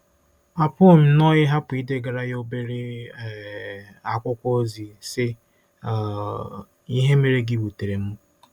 Apụghị m nnọọ ịhapụ idegara ya obere um akwụkwọ ozi, sị um: “ Ihe mere gị wutere m.